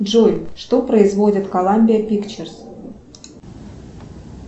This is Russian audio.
джой что производит коламбия пикчерс